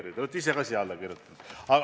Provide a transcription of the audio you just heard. Te olete ka ise sellele arupärimisele alla kirjutanud.